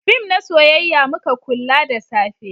fim na soyayya muka kulla da safe